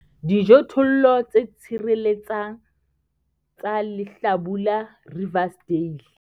Dijothollo tse tshireletsang tsa lehlabula Riversdale.